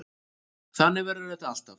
Þannig verður þetta alltaf.